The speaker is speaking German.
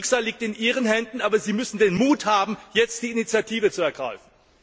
Das Schicksal liegt in Ihren Händen, aber Sie müssen den Mut haben, jetzt die Initiative zu ergreifen.